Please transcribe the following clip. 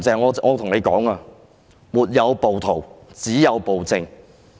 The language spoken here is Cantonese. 我要對"林鄭"說，"沒有暴徒，只有暴政"。